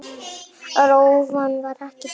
Rófan var ekki dýr.